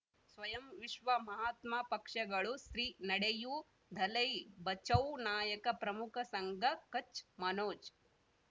ಸ್ವಯಂ ವಿಶ್ವ ಮಹಾತ್ಮ ಪಕ್ಷಗಳು ಸ್ತ್ರೀ ನಡೆಯೂ ದಲೈ ಬಚೌ ನಾಯಕ ಪ್ರಮುಖ ಸಂಘ ಕಚ್ ಮನೋಜ್